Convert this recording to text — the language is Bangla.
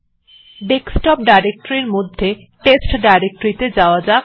ডেস্কটপ ডিরেক্টরী র মধ্যে টেস্ট ডিরেক্টরীত়ে যাওয়া যাক